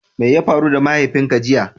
Mai ya faru da mahaifin ka jiya?